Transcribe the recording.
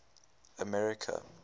america